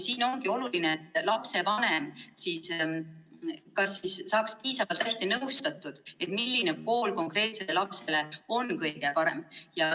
Siin ongi oluline, et lapsevanem saaks piisavalt hästi nõustatud, et teada, milline kool on konkreetsele lapsele kõige parem.